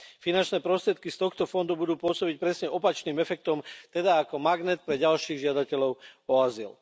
Finančné prostriedky z tohto fondu budú pôsobiť presne opačným efektom, teda ako magnet pre ďalších žiadateľov o azyl.